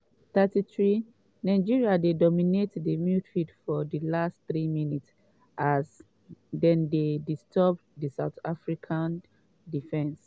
33' nigeria dey dominate di midfield for di last three minutes as dem dey disturb di south african defence.